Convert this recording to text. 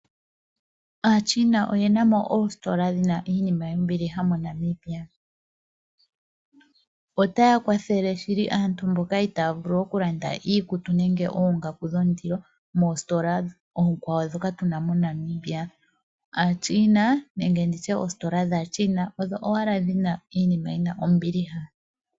Aachina oye na mo oositola dhi na iinima yombiliha moNamibia. Otaya kwathele shili aantu mboka itaya vulu okulanda iikutu nenge oongaku dhondilo moositola oonkwawo ndhoka tu na moNamibia. Aachina nenge ndi tye oositola dhAachina odho owala dhi na iinima yi na ombiliha .